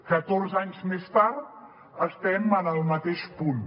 catorze anys més tard estem en el mateix punt